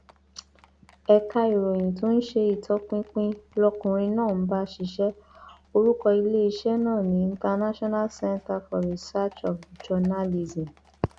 ẹka ìròyìn tó ń ṣe ìtọpinpin lọkùnrin náà ń bá ṣíṣe orúkọ iléeṣẹ náà ní international centre for researchtif journalism